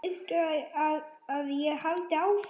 Viltu að ég haldi áfram?